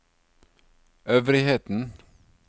øvrigheten